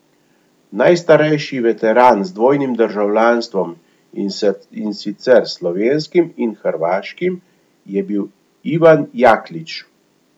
Najstarejši veteran z dvojnim državljanstvom, in sicer slovenskim in hrvaškim, je bil Ivan Jaklič.